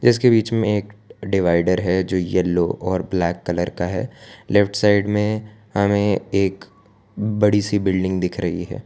इसके बीच में एक डिवाइडर है जो येलो और ब्लैक कलर का है लेफ्ट साइड में हमें एक बड़ी सी बिल्डिंग दिख रही है।